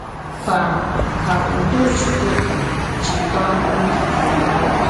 Kwà, kà ùdò Chùkwùkà jìkwàá òbì gí.”